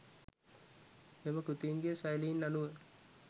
මෙම කෘතීන්ගේ ශෛලීන් අනුව